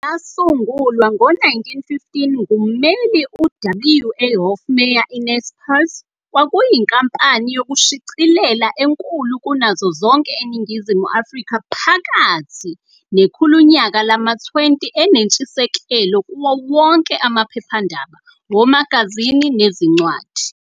Yasungulwa ngo-1915 ngummeli u-WA Hofmeyr, iNaspers kwakuyinkampani yokushicilela enkulu kunazo zonke eNingizimu Afrika phakathi nekhulunyaka lama-20 enentshisekelo kuwo wonke amaphephandaba, omagazini nezincwadi.